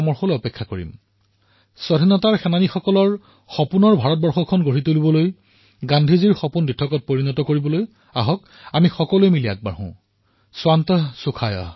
আহক আমি সকলোৱে মিলি স্বাধীনতাপ্ৰেমীসকলৰ সপোনৰ ভাৰত নিৰ্মাণৰ বাবে গান্ধীৰ সপোনৰ ভাৰত বাস্তৱায়িত কৰাৰ বাবে আগবাঢ়ো স্বান্তঃ সুখায়ঃ